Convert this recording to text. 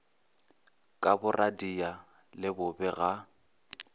ka boradia le bobe ga